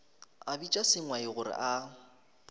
a bitša sengwai gore a